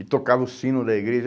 E tocava o sino da igreja.